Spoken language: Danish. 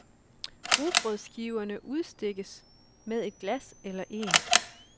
Rugbrødsskiverne udstikkes med et glas eller en